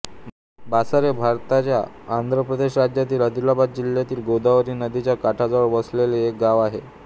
बासर हे भारताच्या आंध्र प्रदेश राज्यातील आदिलाबाद जिल्ह्यातील गोदावरी नदीच्या काठाजवळ वसलेले एक गाव आहे